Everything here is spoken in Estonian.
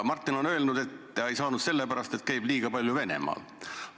Martin on öelnud, et ta ei saanud selle pärast, et käib liiga palju Venemaal.